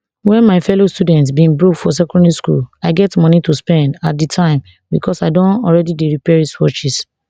when my fellow students bin broke for secondary school i get money to spend at di time because i don already dey repair wristwatches